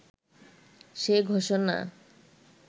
সে ঘোষণা